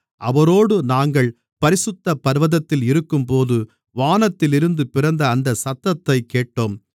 அவரோடு நாங்கள் பரிசுத்த பர்வதத்தில் இருக்கும்போது வானத்திலிருந்து பிறந்த அந்தச் சத்தத்தைக் கேட்டோம்